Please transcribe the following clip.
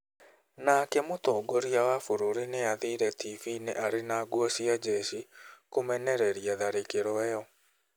Nake mũtongoria wa bũrũri nĩ aathire tivi-inĩ arĩ na nguo cia njeshi kũmenereria tharĩkĩro ĩyo.